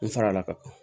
N fara la ka taa